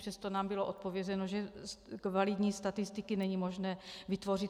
Přesto nám bylo odpovězeno, že kvalitní statistiky není možné vytvořit.